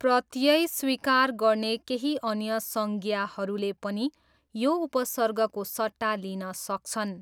प्रत्यय स्वीकार गर्ने केही अन्य संज्ञाहरूले पनि यो उपसर्गको सट्टा लिन सक्छन्।